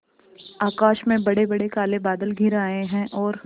आकाश में बड़ेबड़े काले बादल घिर आए हैं और